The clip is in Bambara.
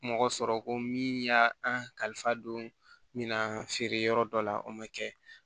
Mɔgɔ sɔrɔ ko min y'a an kalifa don min na feere yɔrɔ dɔ la o ma kɛ